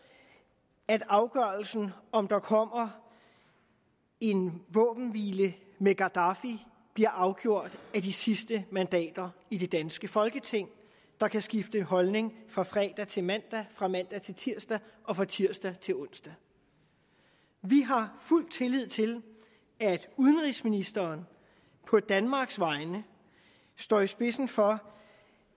at afgørelsen om der kommer en våbenhvile med gaddafi bliver afgjort af de sidste mandater i det danske folketing der kan skifte holdning fra fredag til mandag fra mandag til tirsdag og fra tirsdag til onsdag vi har fuld tillid til at udenrigsministeren på danmarks vegne står i spidsen for